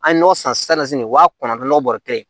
An ye nɔ san wa kɔnɔntɔnnɔgɔ bɔrɛ kelen